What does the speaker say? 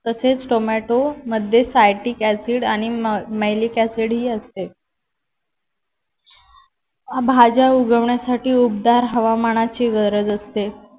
तसेच टोमॅटोमध्ये citric acid आणि malice acid ही असते. भाज्या उगवण्यासाठी उबदार हवामानाची गरज असते.